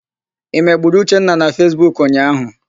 I megburu Uchenna na Fesbuku ụnyaahụ?